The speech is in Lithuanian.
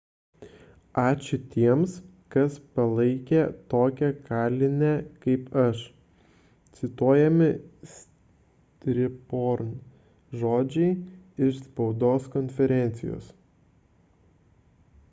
ačiū tiems kas palaikė tokią kalinę kaip aš – cituojami siriporn žodžiai iš spaudos konferencijos